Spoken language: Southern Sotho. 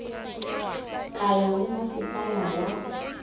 ka ya ho masepala wa